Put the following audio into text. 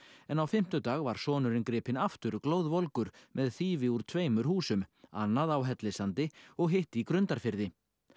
en á fimmtudag var sonurinn gripinn aftur glóðvolgur með þýfi úr tveimur húsum annað á Hellissandi og hitt í Grundarfirði